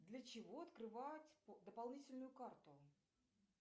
для чего открывают дополнительную карту